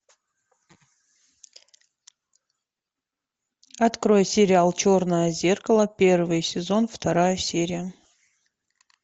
открой сериал черное зеркало первый сезон вторая серия